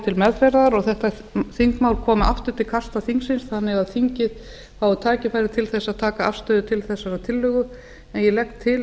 til meðferðar og þetta þingmál komi aftur til kasta þingsins þannig að þingið fái tækifæri til þess að taka afstöðu til þessarar tillögu ég legg til